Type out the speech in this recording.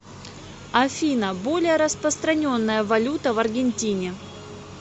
афина более распространенная валюта в аргентине